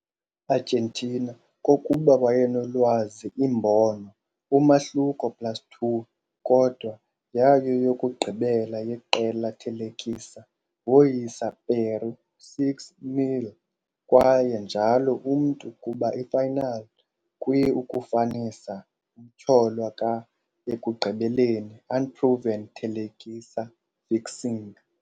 Argentina kokuba wayenolwazi imbono umahluko plus2, kodwa yayo yokugqibela yeqela thelekisa, woyisa Peru 6-0, kwaye njalo umntu kuba i-final kwi-ukufanisa umtyholwa ka-ekugqibeleni-unproven thelekisa fixing.